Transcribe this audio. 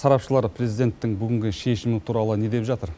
сарапшылар президенттің бүгінгі шешімі туралы не деп жатыр